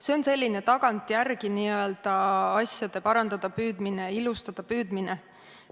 See on selline tagantjärele n-ö asjade parandada püüdmine, ilustada püüdmine.